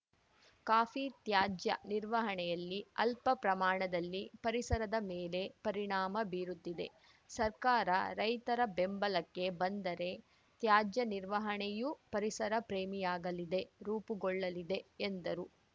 coffee ತ್ಯಾಜ್ಯ ನಿರ್ವಹಣೆಯಲ್ಲಿ ಅಲ್ಪಪ್ರಮಾಣದಲ್ಲಿ ಪರಿಸರದ ಮೇಲೆ ಪರಿಣಾಮ ಬೀರುತ್ತಿದೆ ಸರ್ಕಾರ ರೈತರ ಬೆಂಬಲಕ್ಕೆ ಬಂದರೆ ತ್ಯಾಜ್ಯ ನಿರ್ವಹಣೆಯೂ ಪರಿಸರ ಪ್ರೇಮಿಯಾಗಲಿದೆ ರೂಪುಗೊಳ್ಳಲಿದೆ ಎಂದರು